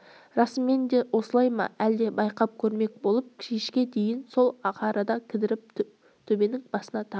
расымен де осылай ма әлі де байқап көрмек болып кешке дейін сол арада кідіріп төбенің басына тағы